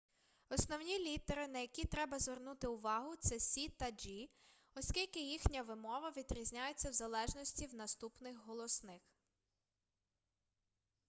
основні літери на які треба звернути увагу це с та g оскільки їхня вимова відрізняється в залежності від наступних голосних